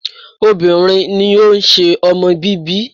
Obìnrin ni ó ń ṣe ọmọ bíbí.